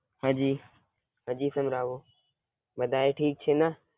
હાજી, હાજી સંભળાવો. બધાય ઠીક છેને?